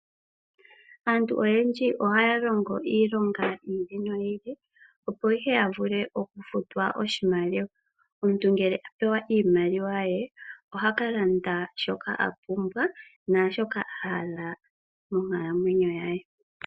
Aantu oyendji oha ya longo iilonga yiili no yiili opo ashike ya vule okufutwa oshimaliwa. Omuntu ngele a pewa iimaliwa ye oha kalanda shoka a pumbwa naashoka a hala monkalamwenyo ye.